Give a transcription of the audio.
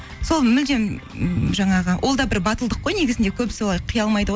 сол мүлдем м жаңағы ол да бір батылдық қой негізінде көбісі олай қия алмайды ғой